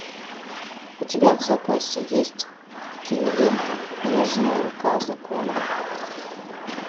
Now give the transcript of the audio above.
у тебя в запасе есть кинолента нежная рука закона